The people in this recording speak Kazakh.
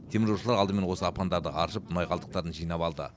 теміржолшылар алдымен осы апандарды аршып мұнай қалдықтарын жинап алды